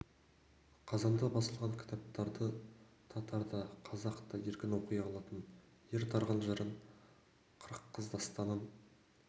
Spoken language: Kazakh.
қазанда басылған кітапты татар да қазақ та еркін оқи алатын ер тарғын жырын қырық қыз дастанын